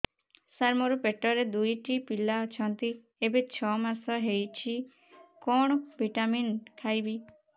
ସାର ମୋର ପେଟରେ ଦୁଇଟି ପିଲା ଅଛନ୍ତି ଏବେ ଛଅ ମାସ ହେଇଛି କଣ ଭିଟାମିନ ଖାଇବି